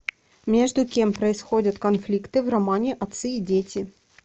между кем происходят конфликты в романе отцы и дети